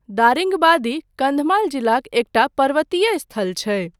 दारिंगबादी कन्धमाल जिलाक एकटा पर्वतीय स्थल छै।